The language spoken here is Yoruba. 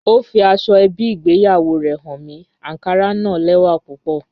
Ọ fí àsọ̀-èbí ìgbéyàwó rè háń mi, ànkárà na lẹ́wà púpọ̀